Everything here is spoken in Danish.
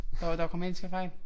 Der var der grammatiske fejl